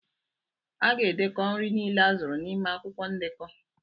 A ga-edekọ nri niile azụrụ n'ime akwụkwọ ndekọ.